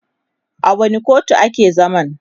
a wani kotu a ke zaman?